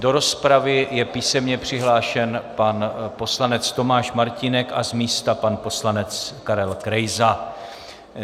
Do rozpravy je písemně přihlášen pan poslanec Tomáš Martínek a z místa pan poslanec Karel Krejza.